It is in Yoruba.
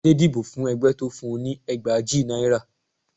Adé dìbò fún ẹgbẹ́ tí ó fún un ní ẹgbàajì náírà